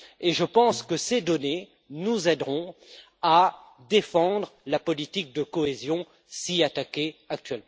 Je pense que ces données nous aideront à défendre la politique de cohésion si souvent attaquée actuellement.